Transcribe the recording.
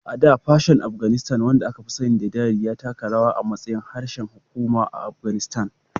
A da, Persian Afganistan, wanda aka fi sani da Dari, ya taka rawa a matsayin harshen hukuma a Afghanistan.